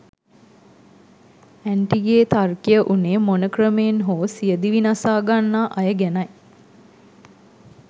Aunty ගේ තර්කය වුනේ මොන ක්‍රමයෙන් හෝ සියදිවි නසා ගන්නා අය ගැනයි.